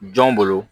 Jɔn bolo